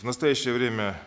в настоящее время